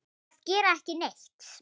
til að gera ekki neitt